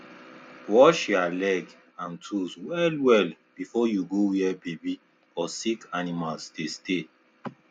wash ya leg and tools well well before you go where baby or sick animals dey stay